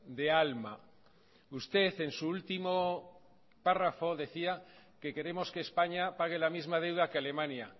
de alma usted en su último párrafo decía que queremos que españa pague la misma deuda que alemania